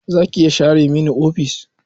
Za ki iya share mini ofis?